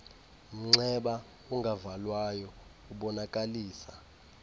mnxeba ungavalwayo ubonakalisa